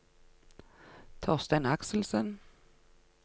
Torstein Akselsen